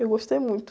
Eu gostei muito.